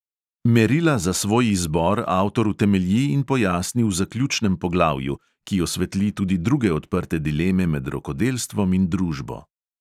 Merila za svoj izbor avtor utemelji in pojasni v zaključnem poglavju, ki osvetli tudi druge odprte dileme med rokodelstvom in družbo.